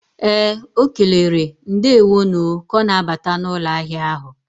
Ee, ọ kelere "ndeewo nu o ka ọ na-abata n'ụlọ ahịa ahụ."